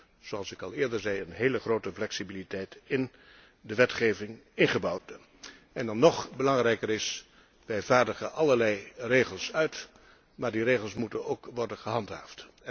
We hebben, zoals ik al eerder zei, een hele grote flexibiliteit in de wetgeving ingebouwd. Dan nog belangrijker is wij vaardigen allerlei regels uit, maar die regels moeten ook worden gehandhaafd.